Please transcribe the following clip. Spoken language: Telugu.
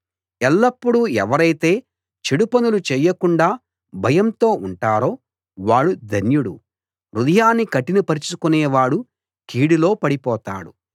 ఎల్లప్పుడూ ఎవరైతే చేడు పనులు చేయకుండా భయంతో ఉంటారో వాడు ధన్యుడు హృదయాన్ని కఠినపరచుకొనేవాడు కీడులో పడిపోతాడు